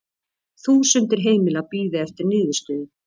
Þúsundir heimila bíði eftir niðurstöðu